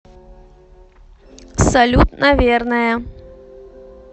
салют наверное